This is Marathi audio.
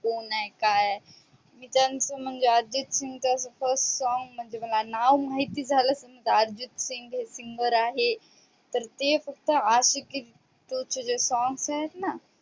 कोण आहे? काय आहे? अर्जित सिंग म्हणजे अर्जित सिंग च first song म्हणजे तसं मला नाव माहिती झाल. समजा अर्जित सिंग हे singer आहे ते फक्त आशिकी टू चे songs आहेत ना.